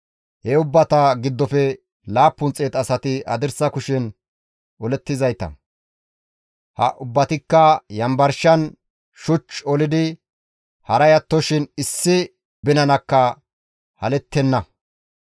He ubbata giddofe 700 asati hadirsa kushen olizayta; ha ubbatikka yanbarshan shuch olidi haray attoshin issi binanakka halettenna.